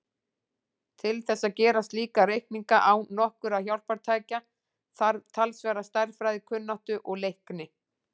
Til þess að gera slíka reikninga án nokkurra hjálpartækja þarf talsverða stærðfræðikunnáttu og-leikni.